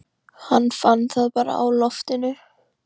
Hann fann það bara á loftinu.